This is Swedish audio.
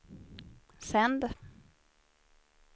sänd